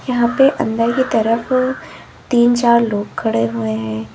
यहां पे अंदर की तरफ तीन चार लोग खड़े हुए हैं।